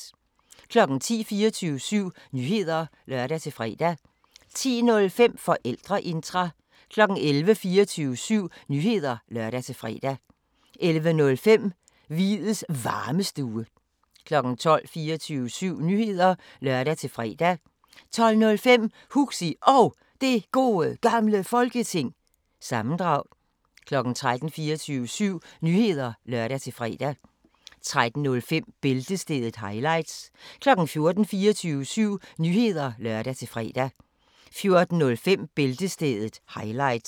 10:00: 24syv Nyheder (lør-fre) 10:05: Forældreintra 11:00: 24syv Nyheder (lør-fre) 11:05: Hviids Varmestue 12:00: 24syv Nyheder (lør-fre) 12:05: Huxi Og Det Gode Gamle Folketing- sammendrag 13:00: 24syv Nyheder (lør-fre) 13:05: Bæltestedet – highlights 14:00: 24syv Nyheder (lør-fre) 14:05: Bæltestedet – highlights